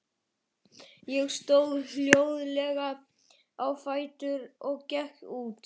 Ég stóð hljóðlega á fætur og gekk út.